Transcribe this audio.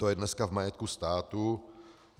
To je dneska v majetku státu.